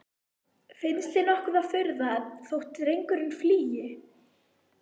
Finnst þér nokkur furða þótt drengurinn flýi?